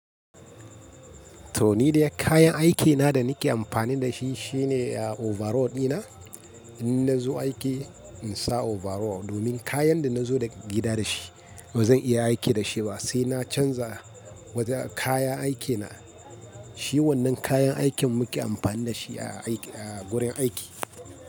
To ni dai kayan aikena da nake amfani da shi shine overall dina. In nazo aiki in sa overall domin kayan da nazo daga gida da shi ba zan iya aiki da shi ba sai na canza wajen kayan aikena. Shi wannan kayan aikin muke amfani da shi a aiki a gurin aiki.